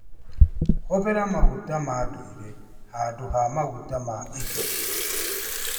Hũthĩra maguta ma ndũire handũ ha maguta ma indo.